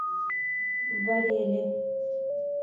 барели